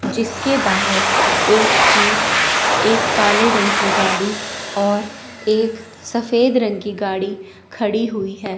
जीसके बाहर एक जीप एक काले रंग की गाड़ी और एक सफेद रंग की गाड़ी खड़ी हुई है।